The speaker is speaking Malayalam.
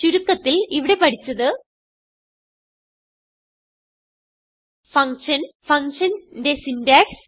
ചുരുക്കത്തിൽ ഇവിടെ പഠിച്ചത് ഫങ്ഷൻ functionന്റെ സിന്റാക്സ്